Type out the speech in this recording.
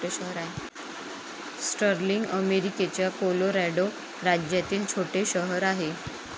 Sterling अमेरिकेच्या Colorado राज्यातील छोटे शहर आहे.